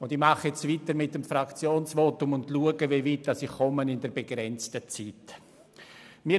Ich fahre weiter mit dem Fraktionsvotum und schaue einmal, wie weit ich in der begrenzten Zeit komme.